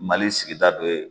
Mali sigida dɔ ye